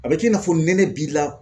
A bɛ k'i n'a fɔ nɛnɛ b'i la ,